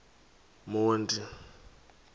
monti